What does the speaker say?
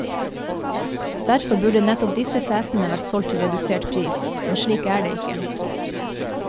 Derfor burde nettopp disse setene vært solgt til redusert pris, men slik er det ikke.